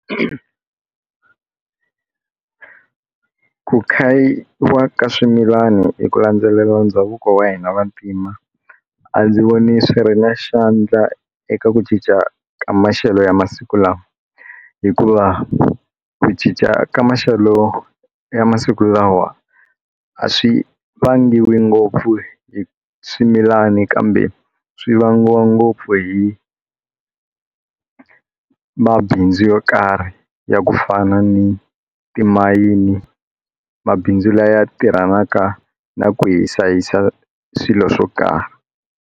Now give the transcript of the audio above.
Ku khayiwa ka swimilana hi ku landzelela ndhavuko wa hina vantima a ndzi voni swi ri na xandla eka ku cinca ka maxelo ya masiku lawa hikuva ku cinca ka maxelo ya masiku lawa a swi vangiwi ngopfu hi swimilani kambe swi vangiwa ngopfu hi mabindzu yo karhi ya ku fana ni timayini mabindzu laya tirhanaka na ku hisa yisa swilo swo karhi.